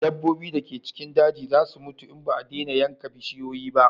Dabbobi da ke cikin daji za su mutu in ba a dena yanka bishiyoyi ba